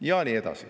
Ja nii edasi.